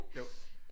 Jo